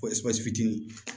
Pɔsi